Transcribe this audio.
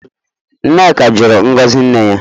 Nneka jụrụ ngozi nne ya.